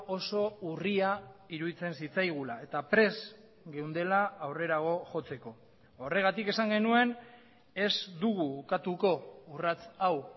oso urria iruditzen zitzaigula eta prest geundela aurrerago jotzeko horregatik esan genuen ez dugu ukatuko urrats hau